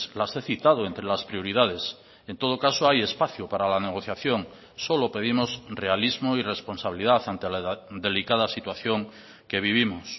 las he citado entre las prioridades en todo caso hay espacio para la negociación solo pedimos realismo y responsabilidad ante la delicada situación que vivimos